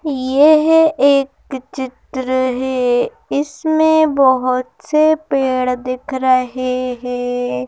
यह एक चित्र है इसमें बहुत से पेड़ दिख रहे हैं।